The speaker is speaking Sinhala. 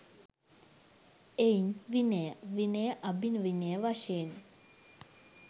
එයින් විනය, විනයඅභිවිනය වශයෙන්